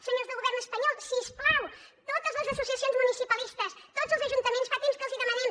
senyors del govern espanyol si us plau totes les associacions municipalistes tots els ajuntaments fa temps que els hi demanem